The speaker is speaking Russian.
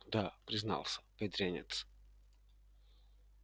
да признался бедренец